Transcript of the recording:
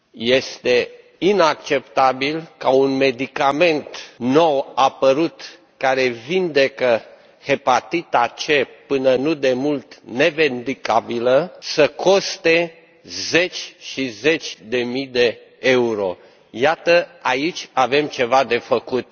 Este inacceptabil ca un medicament nou apărut, care vindecă hepatita C, până nu demult nevindecabilă, să coste zeci și zeci de mii de euro. Iată, aici avem ceva de făcut.